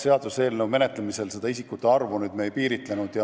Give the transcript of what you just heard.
Seaduseelnõu menetlemisel me nende isikute arvu ei käsitlenud.